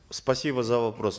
спасибо за вопрос